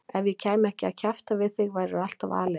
Ef ég kæmi ekki að kjafta við þig værirðu alltaf aleinn.